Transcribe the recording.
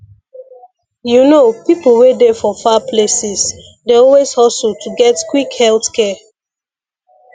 you know people wey dey for far places dey always hustle to get quick health care